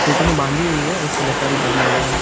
खूँटे में बाँधी हुई है और उस का बछड़ा भी बांधा हुआ है।